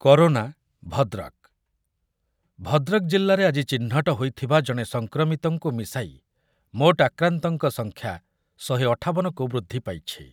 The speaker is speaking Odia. କରୋନା ଭଦ୍ରକ, ଭଦ୍ରକ ଜିଲ୍ଲାରେ ଆଜି ଚିହ୍ନଟ ହୋଇଥିବା ଜଣେ ସଂକ୍ରମିତଙ୍କୁ ମିଶାଇ ମୋଟ ଆକ୍ରାନ୍ତଙ୍କ ସଂଖ୍ୟା ଶହେ ଅଠାବନ କୁ ବୃଦ୍ଧି ପାଇଛି ।